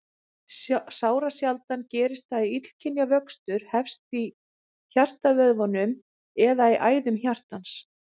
Sárasjaldan gerist það að illkynja vöxtur hefst í hjartavöðvanum eða í æðum hjartans.